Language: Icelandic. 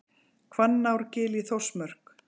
Hvannárgil í Þórsmörk.